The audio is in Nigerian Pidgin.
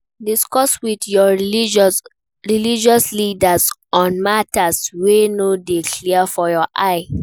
Discuss with your religious leaders on matters wey no de clear for your eye